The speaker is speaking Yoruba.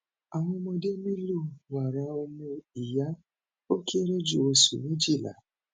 awọn ọmọde nilo wara omu iya o kere ju oṣu mejila